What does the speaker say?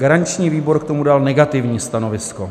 Garanční výbor k tomu dal negativní stanovisko.